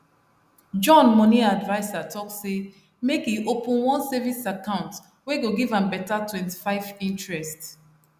john money adviser talk say make e open one savings account wey go give am beta 25 interest